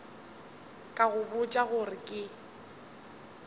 ka go botša gore ke